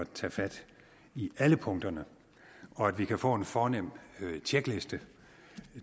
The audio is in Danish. tage fat i alle punkterne og at vi kan få en fornem tjekliste